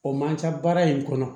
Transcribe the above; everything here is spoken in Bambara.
O man ca baara in kɔnɔ